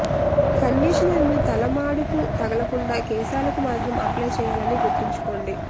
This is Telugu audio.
కండిషనర్ మీ తలమాడుకు తలగలకుండా కేశాలకు మాత్రం అప్లై చేయాలని గుర్తించుకోండి